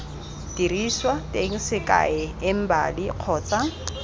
diriswa teng sekai embali kgotsa